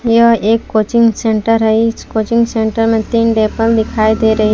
यह एक coaching centre है इस कोचिंग सेंटर में दिखाई दे रही है।